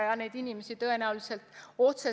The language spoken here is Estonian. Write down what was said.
Mina seda kahjuks täna öelda ei oska.